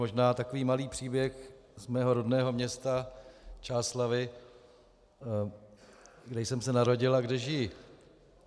Možná takový malý příběh z mého rodného města Čáslavi, kde jsem se narodil a kde žiji.